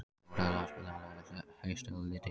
Þórelfa, spilaðu lagið „Haustið á liti“.